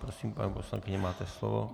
Prosím, paní poslankyně, máte slovo.